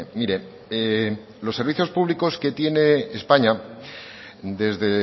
mire los servicios públicos que tiene españa desde